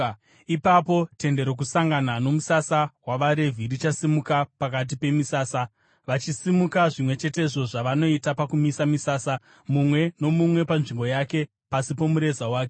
Ipapo Tende Rokusangana nomusasa wavaRevhi zvichasimuka pakati pemisasa. Vachasimuka zvimwe chetezvo zvavanoita pakumisa misasa, mumwe nomumwe panzvimbo yake, pasi pomureza wake.